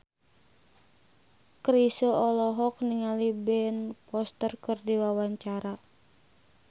Chrisye olohok ningali Ben Foster keur diwawancara